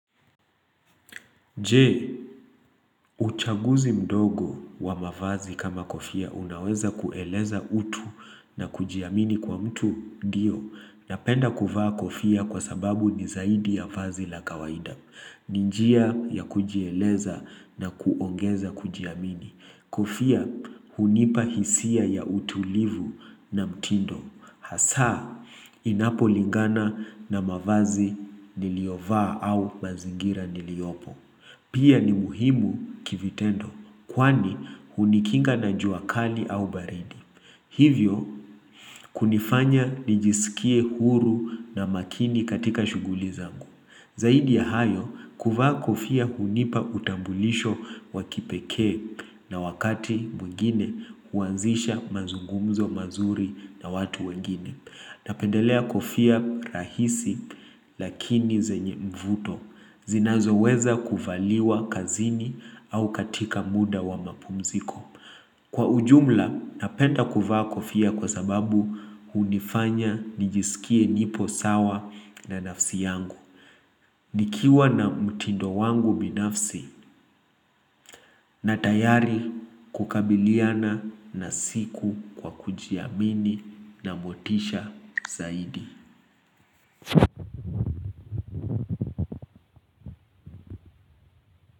Je, uchaguzi mdogo wa mavazi kama kofia unaweza kueleza utu na kujiamini kwa mtu diyo. Napenda kuvaa kofia kwa sababu ni zaidi ya vazi la kawaida. Ninjia ya kujieleza na kuongeza kujiamini. Kofia hunipahisia ya utulivu na mtindo. Hasaa inapo lingana na mavazi niliovaa au mazingira niliopo. Pia ni muhimu kivitendo kwani hunikinga na juakali au baridi. Hivyo kunifanya nijisikie huru na makini katika shuguli zangu. Zaidi ya hayo kuvaa kofia hunipa utambulisho wakipeke na wakati mwengine huanzisha mazungumzo mazuri na watu wengine. Napendelea kofia rahisi lakini zenye mvuto zinazo weza kuvaliwa kazini au katika muda wa mapumziko. Kwa ujumla napenda kuvaa kofia kwa sababu unifanya nijisikie nipo sawa na nafsi yangu. Nikiwa na mtindo wangu binafsi na tayari kukabiliana na siku kwa kujiamini na motisha zaidi.